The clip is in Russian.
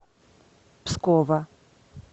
пскова